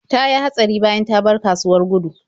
Ta yi hatsari bayan ta bar kasuwar Gudu.